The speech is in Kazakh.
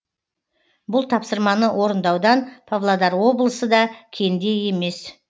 бұл тапсырманы орындаудан павлодар облысы да кенде емес